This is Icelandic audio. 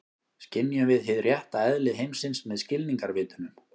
Skynjum við hið rétta eðli heimsins með skilningarvitunum?